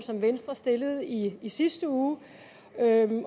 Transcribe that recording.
som venstre stillede i i sidste uge